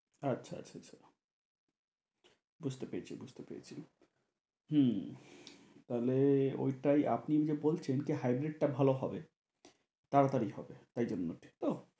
আচ্ছা আচ্ছা বুঝতে পেরেছি বুঝতে পেরেছি হম তাহলে ওইটাই আপনি যে বলছেন কি hybrid টা ভালো হবে তাড়াতাড়ি হবে তাই জন্য ঠিক তো?